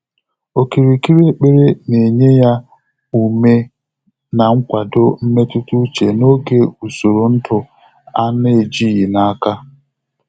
Ókìrìkìrì ékpèré nà-ényé yá úmé nà nkwàdò mmétụ́tà úchè n’ógè ùsòrò ndụ́ á nà-éjíghị́ n’áká.